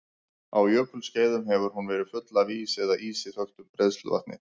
Á jökulskeiðum hefur hún verið full af ís eða ísi þöktu bræðsluvatni.